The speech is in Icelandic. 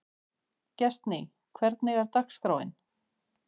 Gestný, hvernig er dagskráin?